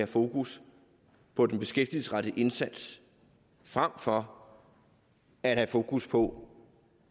fokus på den beskæftigelsesrettede indsats frem for at have fokus på